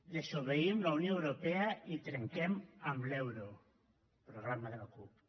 desobeïm la unió europea i trenquem amb l’euro programa de la cup